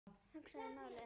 Hugsaði málið.